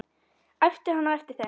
æpti hann á eftir þeim.